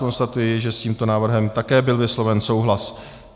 Konstatuji, že s tímto návrhem byl také vysloven souhlas.